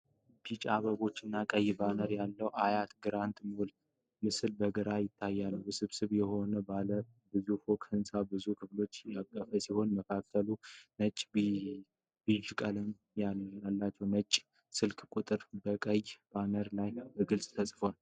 ቢጫ አበቦች እና ቀይ ባነር ያለው የአያት ግራንድ ሞል ምስል በግልጽ ይታያል። ውስብስብ የሆነው ባለ ብዙ ፎቅ ህንፃ ብዙ ክፍሎችን ያቀፈ ሲሆን መካከለኛዎቹ ነጭና ቢዥ ቀለም አላቸው። የሽያጭ ስልክ ቁጥሮች በቀይ ባነር ላይ በግልጽ ተጽፈዋል።